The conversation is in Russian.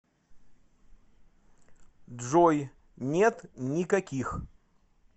джой нет никаких